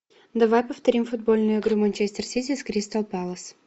давай повторим футбольную игру манчестер сити с кристал пэлас